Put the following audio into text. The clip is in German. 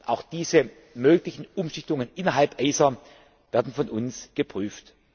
Auch diese möglichen Umschichtungen innerhalb von ACER werden von uns geprüft.